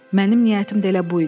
Mənim niyyətim də elə bu idi.